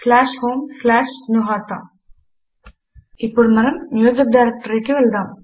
homegnuhata నరేషన్ slash home slash జ్ఞుహత ఇప్పుడు మనము మ్యూజిక్ డైరెక్టరీకి వెళ్దాము